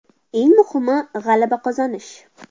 Eng muhimi – g‘alaba qozonish.